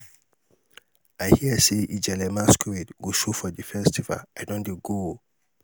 i hear sey ijele masqurade go show for di festival i don dey go.